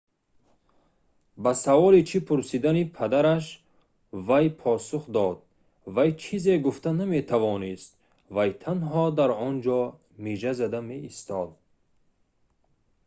ба саволи чӣ пурсидани падараш вай посух дод вай чизе гуфта наметавонист вай танҳо дар онҷо мижа зада меистод